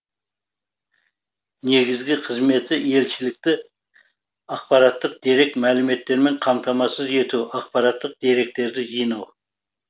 негізгі қызметі елшілікті ақпараттық дерек мәліметтермен қамтамасыз ету ақпараттық деректерді жинау